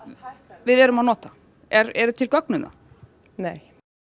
við erum að nota eru til gögn um það nei